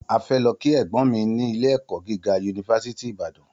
A fẹ lọ ki ẹgbọn mi ni ilé ẹkọ gíga yunifásítì Ibàdàn